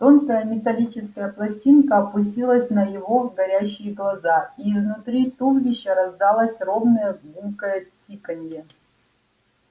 тонкая металлическая пластинка опустилась на его горящие глаза и изнутри туловища раздалось ровное гулкое тиканье